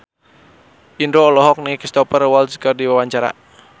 Indro olohok ningali Cristhoper Waltz keur diwawancara